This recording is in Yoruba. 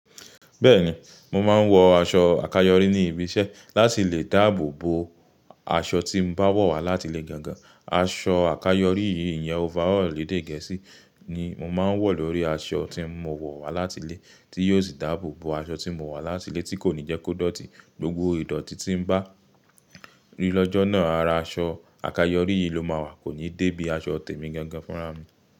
Bẹ́ẹ̀ni, mo máa ń wọ aṣọ àkayọrí ní ibi iṣẹ́ láti lè dáàbò bo aṣọ tí mo bá wọ̀ wá láti ilé gangan. Aṣọ àkayọrí yìí ń yẹn overall lèdè Gẹ̀ẹ́sì ni mo máa ń wọ̀ lórí aṣọ tí mo wọ̀ wá láti ilé, tí yóò sì dáàbò bo aṣọ tí mo wọ̀ wá láti ilé tí kò ní jẹ́ kó dọ̀tí. Gbogbo ìdọ̀tí tí bá rí lọ́jọ́ náà, ara aṣọ àkayọrí yìí ló máa wà, kò ní dé bí i aṣọ tèmi gangan fúnra mi.